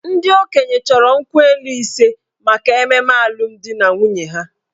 Ndị okenye chọrọ nkwu elu ise maka ememe alụmdi na nwunye ha.